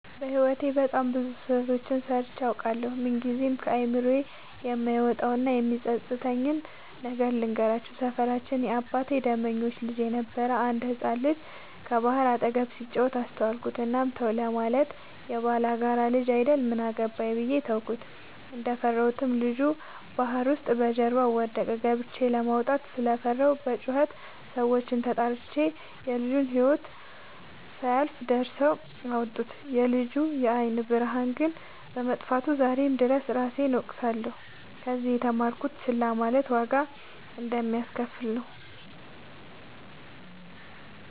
በህይወቴ በጣም ብዙ ስህተቶችን ሰርቸ አውቃለሁ። ምንግዜም ከአይምሮዬ የማይወጣው እና የሚፀፅተኝን ነገር ልንገራችሁ። ሰፈራችን የአባቴ ደመኞች ልጅ የነበረ አንድ ህፃን ልጅ ከባህር አጠገብ ሲጫወት አስተዋልኩት። እናም ተው ለማለት የባላጋራ ልጅ አይደል ምን አገባኝ ብዬ ተውኩት። እንደፈራሁትም ልጁ ባህር ውስጥ በጀርባው ወደቀ። ገብቸ ለማውጣት ስለፈራሁ በጩኸት ሰዎችን ተጣርቸ የልጁ ህይወት ሳያልፍ ደርሰው አወጡት። የልጁ የአይን ብርሃን ግን በመጥፋቱ ዛሬም ድረስ እራሴን እወቅሳለሁ። ከዚህ የተማርኩት ችላ ማለት ዋጋ እንደሚያሰከፍል ነው።